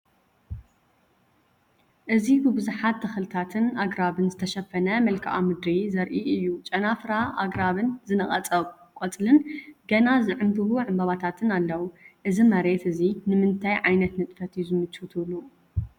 እዚ ብብዙሓት ተኽልታትን ኣግራብን ዝተሸፈነ መልክዓ ምድሪ ዘርኢ እዩ። ጨናፍር ኣግራብን ዝነቐጸ ቆጽልን ገና ዝዕምብቡ ዕምባባታትን ኣለዉ። እዚ መሬት እዚ ንምንታይ ዓይነት ንጥፈት እዩ ዝምችው ትብሉ?